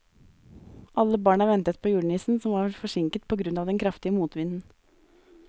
Alle barna ventet på julenissen, som var forsinket på grunn av den kraftige motvinden.